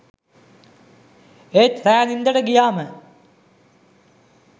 ඒත් රෑ නින්දට ගියාම